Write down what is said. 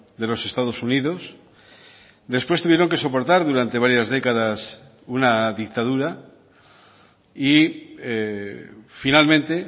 de los estados unidos después tuvieron que soportar durante varias décadas una dictadura y finalmente